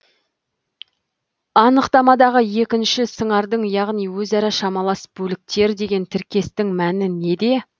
анықтамадағы екінші сыңардың яғни өзара шамалас бөліктер деген тіркестің мәні неде